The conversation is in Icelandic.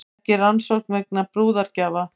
Ekki rannsókn vegna brúðargjafa